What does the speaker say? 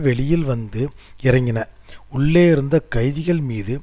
வெளியில் வந்து இறங்கின உள்ளே இருந்த கைதிகள் மீது